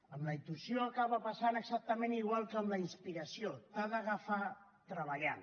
amb la intuïció acaba passant exactament igual que amb la inspiració t’ha d’agafar treballant